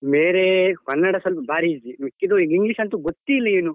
ಬೇರೆ ಕನ್ನಡ ಸ್ವಲ್ಪ ಬಾರಿ easy ಮಿಕ್ಕಿದ್ದು English ಎಂತು ಗೊತ್ತೇ ಇಲ್ಲ ಏನು.